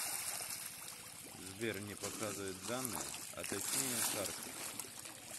сбер не показывает данные а точнее карту